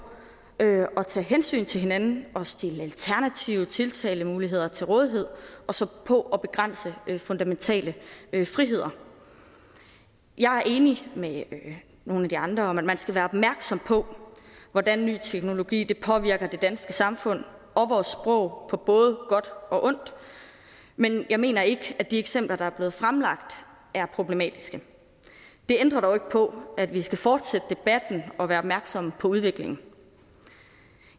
at tage hensyn til hinanden og stille alternative tiltalemuligheder til rådighed og så på at begrænse fundamentale friheder jeg er enig med nogle af de andre i at man skal være opmærksom på hvordan ny teknologi påvirker det danske samfund og vores sprog på både godt og ondt men jeg mener ikke at de eksempler der er blevet fremlagt er problematiske det ændrer dog ikke på at vi skal fortsætte debatten og være opmærksomme på udviklingen